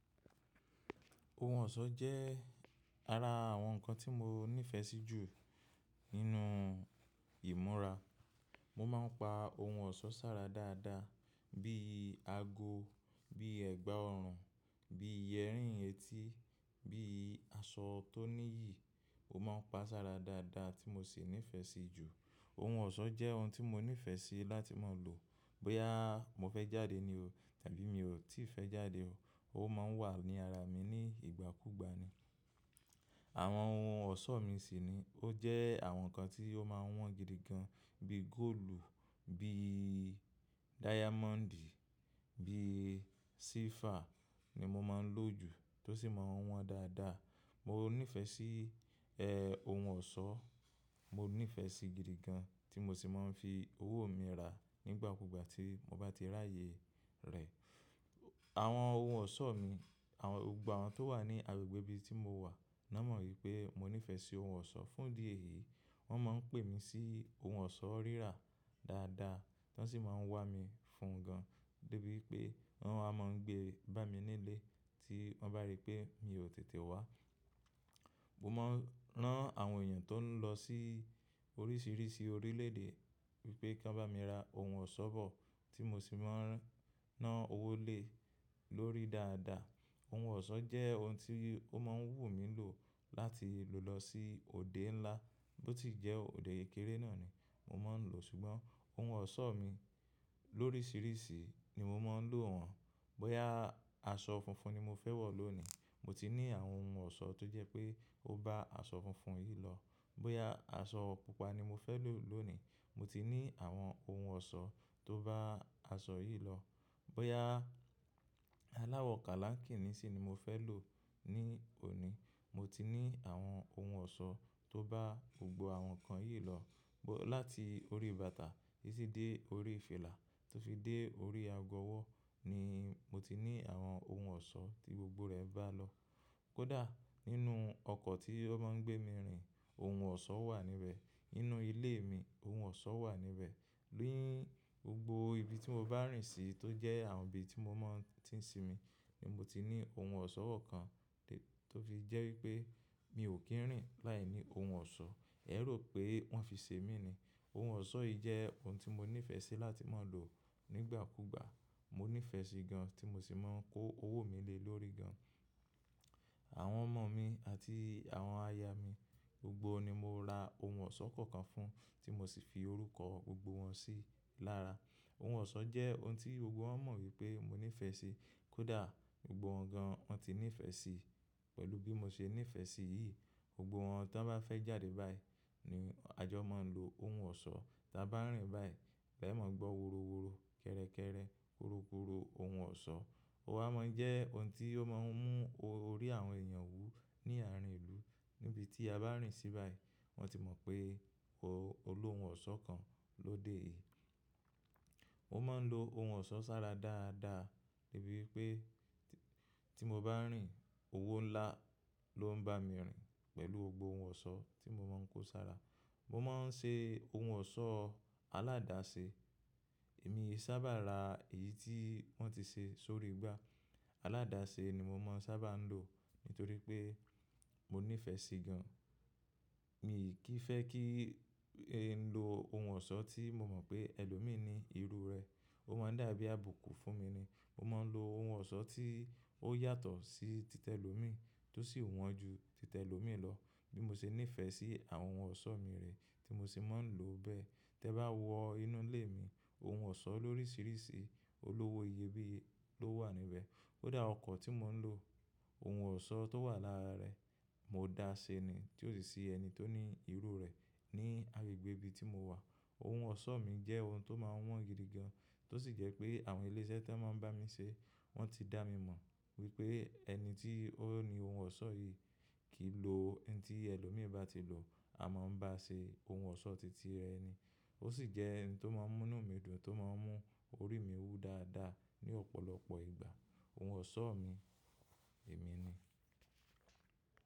Ohun ọ̀ṣọ́ jẹ́ ara àwọn ǹkan tí mo nífẹ̀ẹ́ sí jù nínú ìmúra. Mo máa ń pa ohun ọ̀ṣọ́ sára dáadáa bí i ago, bí i ẹ̀gbà ọrùn, bí i yerini eti, bí i aṣọ tó ní yìí. Mo máa ń pa sára dáadáa tí mo sì nífẹ̀ẹ́ sí i jù. Ohun ọ̀ṣọ́ jẹ́ ohun tí mo nífẹ̀ẹ́ sí láti máa lò. Bóyá mo fẹ́ jáde ni o tàbí mi ò tí ì fẹ́ jáde o, ó máa ń wà ní ara mi ní ìgbàkúgbà ni. Àwọn ohun ọ̀ṣọ́ mi sì ni ó jẹ́ àwọn nǹkan tí ó máa ń wọ́n gidi gan bíi góòlù, bíi dáyámọ́ǹdì, bíi sílfà ni mo máa ń lò jù tó sì máa ń wọ́n dáadáa. Mo nífẹ̀ẹ́ sí, ẹ, ohun ọ̀ṣọ́. Mo nífẹ̀ẹ́ sí i gidi gan tí mo sì máa ń fi owó mi rà á nígbàkúgbà tí mo bá ti rí ààyè rẹ̀. Àwọn ohun ọ̀ṣọ́ mi, àwọn-- gbogbo àwọn tó wà ní agbègbè bí tí mo wà, wọ́n mọ wípé mo nífẹ̀ẹ́ sí ohun ọ̀ṣọ́ fún di èyí. Wọ́n máa ń pè mí sí ohun ọ̀ṣọ́ rírà dáadáa, wọ́n sì máa ń wá mi fún gan. Débi pé wọ́n á máa ń gbé bá mi nílé tí wọ́n bá rí pé mi ò tètè wá. Mo máa ń rán àwọn èèyàn tó ń lọ sí oríṣìíríṣìí orílẹ̀ èdè wípé kí wọ́n bá mi ra ohun ọ̀ṣọ́ bọ̀ tí mo sì máa ń rán ná owó lé lórí dáadáa. Ohun ọ̀ṣọ́ jẹ́ ohun tí ó máa ń wù mí lò láti lò lọ sí òde ńlá. Bó ti jẹ́ òde kéré náà ni mo máa ń lò. Ṣùgbọ́n ohun ọ̀ṣọ́ mi lóríṣìíríṣìí ni mo máa ń lò wọ́n. Bóyá aṣọ funfun ni mo fẹ́ wọ̀ lónìí, mo ti ní àwọn ohun ọ̀ṣọ́ tó jẹ́ pé ó bá aṣọ funfun yìí lọ. Bóyá aṣọ pupa ni mo fẹ́ lò lónìí, mo ti ní àwọn ohun ọ̀ṣọ́ tó bá aṣọ yìí lọ. Bóyá aláwọ̀ kálákìnní sì ni mo fẹ́ lò ní òní, mo ti ní àwọn ohun ọ̀ṣọ́ tó bá gbogbo àwọn nǹkan yìí lọ. Bó-- láti orí bàtà títí dé orí fìlà tó fi dé orí ago ọwọ́ ni mo ti ní àwọn ohun ọ̀ṣọ́ tí gbogbo rẹ̀ bá lọ. Kódà nínú ọkọ̀ tí ó máa ń gbé mi rìn, ohun ọ̀ṣọ́ wà níbẹ̀. Nínú ilé mi, ohun ọ̀ṣọ́ wà níbẹ̀. Ni gbogbo ibi tí mo bá rìn sí tó jẹ́ àwọn ibi tí mo máa tí ń sì mi ni mo ti ní ohun ọ̀ṣọ́ kan tó fi jẹ́ wípé mi ò kí ń rìn láìní ohun ọ̀ṣọ́. Ẹ rò pé wọ́n fi ṣe mí ni. Ohun ọ̀ṣọ́ yìí jẹ́ ohun tí mo nífẹ̀ẹ́ sí láti máa lò nígbàkúgbà. Mo nífẹ̀ẹ́ sí i gan tí mo sì máa ń kó owó mi lé lórí gan. Àwọn ọmọ mi àti àwọn aya mi, gbogbo ni mo ra ohun ọ̀ṣọ́ kọ̀ọ̀kan fún, tí mo sì fi orúkọ gbogbo wọn sí i lára. Ohun ọ̀ṣọ́ jẹ́ ohun tí gbogbo wọn mọ wípé mo nífẹ̀ẹ́ sí i. Kódà gbogbo wọn gan, wọ́n ti nífẹ̀ẹ́ sí i pẹ̀lú bí mo ṣe nífẹ̀ẹ́ sí i yìí. Gbogbo wọn ton bá fẹ́ jáde báyìí ni a jọ máa ń lo ohun ọ̀ṣọ́. Ta bá rìn báyìí, ẹ máa gbọ́ woroworo, kẹ́rẹ́kẹ́rẹ́, korokoro ohun ọ̀ṣọ́. Ó wá máa ń jẹ́ ohun tí ó máa ń mú orí àwọn èèyàn wú ní àárín ìlú. Níbi tí a bá rìn sí báyìí, wọ́n ti mọ̀ pé o-- olú ohun ọ̀ṣọ́ kan ló dé yìí. Mo máa ń lo ohun ọ̀ṣọ́ sára dáadáa débi wípé tí mo bá ń rìn, owó ńlá ló ń bá mi rìn pẹ̀lú gboohun ọ̀ṣọ́ tí mo máa ń kó sára. Mo máa ń ṣe ohun ọ̀ṣọ́ aládase. Èmi ii sábà ra èyí tí wọ́n ti ṣe sórí igbá. Aládase ni mo máa ń sábà lò nítorí pé mo nífẹ̀ẹ́ sí i gan. Mi kì í fẹ́ kí i ń lo ohun ọ̀ṣọ́ tí mo mọ̀ pé ẹlòmíì ni irú rẹ̀. Ó máa ń dàbí àbùkù fún mi ni. Mo máa ń lo ohun ọ̀ṣọ́ tí ó yàtọ̀ sí títẹ̀ lòmíì tó sì wọ́n ju títẹ̀ lòmíì lọ. Bí mo ṣe nífẹ̀ẹ́ sí àwọn ohun ọ̀ṣọ́ mi rè tí mo sì máa ń lò bẹ́ẹ̀. Tẹ bá wọ inú ilé mi, ohun ọ̀ṣọ́ lóríṣìíríṣìí olówó iyebíye ló wà níbẹ̀. Kódà ọkọ̀ tí mò ń lò, ohun ọ̀ṣọ́ tó wà lára rẹ̀, mo dá ṣe ni tí ò sì sí ẹni tó ní irú rẹ̀ ní agbègbè ibi tí mo wà. Ohun ọ̀ṣọ́ mi jẹ́ ohun tó máa ń wọ́n gidi gan, tó sì jẹ́ pé àwọn iléṣẹ́ tó máa ń bá mi ṣé, wọ́n ti dá mi mọ̀ wípé ẹni tí ó ni ohun ọ̀ṣọ́ yìí kì í lo ohun tí ẹlòmíì bá ti lò àmọ́ ń bá ṣe ohun ọ̀ṣọ́ titi rẹ ni. Ó sì jẹ́ ẹni tó máa ń mú inú mi dùn, tó máa ń mú orí mi wú dáadáa ní ọ̀pọ̀lọpọ̀ ìgbà. Ohun ọ̀ṣọ́ mi, èmi ni.